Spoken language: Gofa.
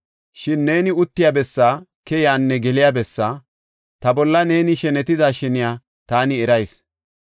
Shin neeni uttiya bessaa, keyiyanne geliya bessaa, ta bolla neeni shenetida sheniya taani erayis.